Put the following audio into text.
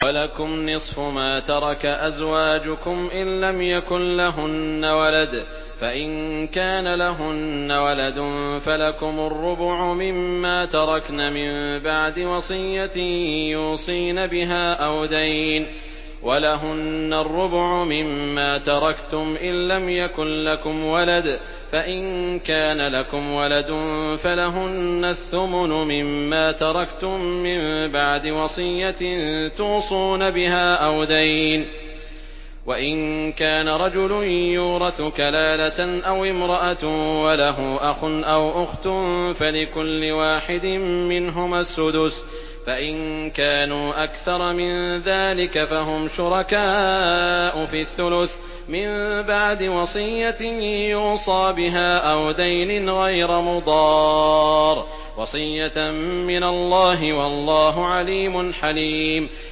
۞ وَلَكُمْ نِصْفُ مَا تَرَكَ أَزْوَاجُكُمْ إِن لَّمْ يَكُن لَّهُنَّ وَلَدٌ ۚ فَإِن كَانَ لَهُنَّ وَلَدٌ فَلَكُمُ الرُّبُعُ مِمَّا تَرَكْنَ ۚ مِن بَعْدِ وَصِيَّةٍ يُوصِينَ بِهَا أَوْ دَيْنٍ ۚ وَلَهُنَّ الرُّبُعُ مِمَّا تَرَكْتُمْ إِن لَّمْ يَكُن لَّكُمْ وَلَدٌ ۚ فَإِن كَانَ لَكُمْ وَلَدٌ فَلَهُنَّ الثُّمُنُ مِمَّا تَرَكْتُم ۚ مِّن بَعْدِ وَصِيَّةٍ تُوصُونَ بِهَا أَوْ دَيْنٍ ۗ وَإِن كَانَ رَجُلٌ يُورَثُ كَلَالَةً أَوِ امْرَأَةٌ وَلَهُ أَخٌ أَوْ أُخْتٌ فَلِكُلِّ وَاحِدٍ مِّنْهُمَا السُّدُسُ ۚ فَإِن كَانُوا أَكْثَرَ مِن ذَٰلِكَ فَهُمْ شُرَكَاءُ فِي الثُّلُثِ ۚ مِن بَعْدِ وَصِيَّةٍ يُوصَىٰ بِهَا أَوْ دَيْنٍ غَيْرَ مُضَارٍّ ۚ وَصِيَّةً مِّنَ اللَّهِ ۗ وَاللَّهُ عَلِيمٌ حَلِيمٌ